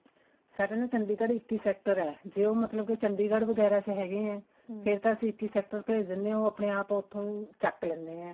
ਸਾਡਾ ਨਾ ਚੰਡੀਗੜ੍ਹ ਇੱਕੀ sector ਹੈ ਜੇ ਉਹ ਮਤਲਬ ਕੇ ਚੰਡੀਗੜ੍ਹ ਵਗੇਰਾ ਚ ਹੈਗੇ ਐ ਫ਼ੇਰ ਤਾਂ ਅਸੀਂ ਇੱਕੀ sector ਭੇਜ ਦਿੰਦੇ ਹਾਂ ਉਹ ਆਪਣੇ ਆਪ ਉੱਥੋਂ ਚੱਕ ਲੈਂਦੇ ਆ